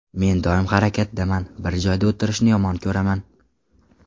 Men doim harakatdaman, bir joyda o‘tirishni yomon ko‘raman.